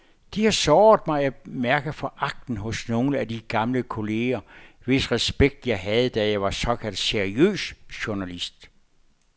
Det har såret mig at mærke foragten hos nogle af de gamle kolleger, hvis respekt jeg havde, da jeg var såkaldt seriøs journalist.